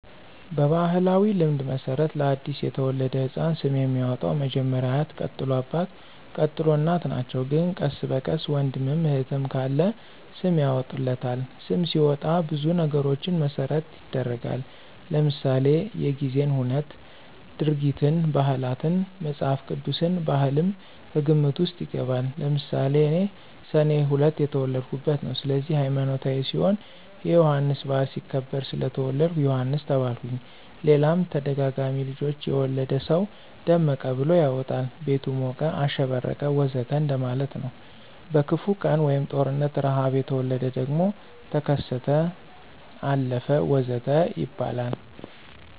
በባሕላዊ ልማድ መሠረት ለ አዲስ የተወለደ ሕፃን ስም የሚያወጣዉ መጀመሪያ አያት ቀጥሎ አባት፣ ቀጥሎ እናት ናቸው ግን ቀስ በቀስ ወንድምም እህትም ካለ ስም ያወጡለታል። ስም ሲወጣ ብዙ ነገሮችን መሰረት ይደረጋል ለምሳሌ:-የጊዜን ሁነት፣ ድርጊትን፣ ባህላትን፣ መፅሐፍ ቅዱስን፣ ባህልም ከግምት ውስጥ ይገባል። ለምሳሌ እኔ ሰኔ 2 የተወለድሁበት ነው ስለዚህ ሀይማኖታዊ ሲሆን የዮሐንስ በዓል ሲከበር ስለተወለድሁ ዮሐንስ ተባልሁኝ ሌላም ተደጋጋሚ ልጆች የወለደ ሰው ደመቀ ብሎ ያወጣል ቤቱ ሞቀ፣ አሸበረቀ ወዘተ እንደማለት ነው። በክፉ ቀን(ጦርነት፣ ርሐብ) የተወለደ ደግሞ ተከሰተ፣ አለፈ ወዘተ ይባላል